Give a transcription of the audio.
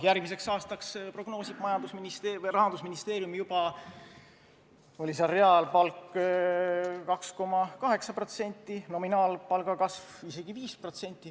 Järgmiseks aastaks prognoosib Rahandusministeerium juba reaalpalga kasvuks 2,8%, nominaalpalga kasvuks isegi 5%.